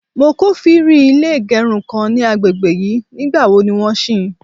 mo kofiri ilé igerun kan ni àgbègbè yìí, ní gba wo ni won sì?